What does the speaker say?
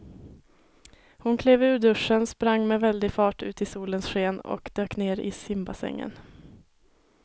Hon klev ur duschen, sprang med väldig fart ut i solens sken och dök ner i simbassängen.